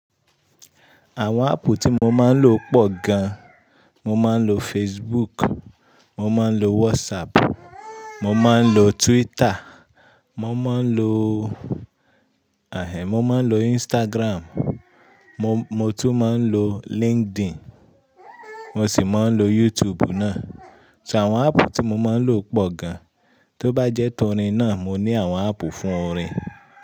Àwon app tí mo máa ń lò pọ̀ gan. Mo máa ń lo Facebook, mo máa ń lo WhatsApp, mo máa ń lo Twitter, mo máa ń lo, ahe, mo máa ń lo Instagram, mo, mo tún máa ń lo LinkedIn, mo sì máa ń lo YouTube náà. So àwon app tí mo máa ń lò pọ̀ gan. Tó bá jẹ́ torí náà, mo ní àwon app fún orin.